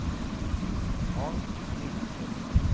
Hans Lindström